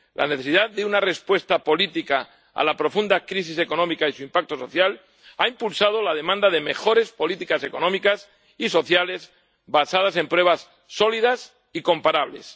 La necesidad de una respuesta política a la profunda crisis económica y su impacto social ha impulsado la demanda de mejores políticas económicas y sociales basadas en pruebas sólidas y comparables.